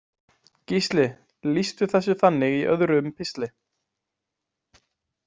Gísli lýsti þessu þannig í öðrum pistli.